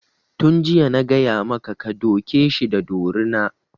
Tun jiya na gaya maka ka duke shi da dorina!